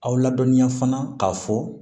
Aw ladɔnniya fana k'a fɔ